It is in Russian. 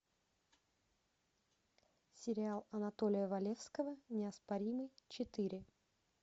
сериал анатолия валевского неоспоримый четыре